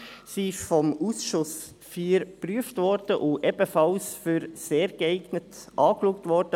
Sie wurde vom Ausschuss IV geprüft und als «sehr geeignet» angeschaut.